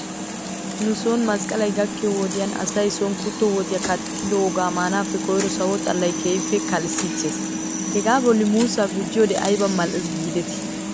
Nu son masqqalay gakkiyoo wodiyan asay son kutto woxiyaa kattidoogaa maanaappe koyrro sawo xalaynne keehippe kalissiichche. Hegaa bolla muussaa guujiyoode ayba mal'es geedetii.